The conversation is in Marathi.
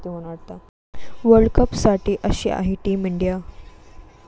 वर्ल्डकपसाठी अशी आहे टीम इंडिया